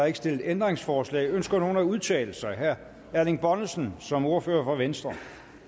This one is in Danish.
ikke stillet ændringsforslag ønsker nogen at udtale sig herre erling bonnesen som ordfører for venstre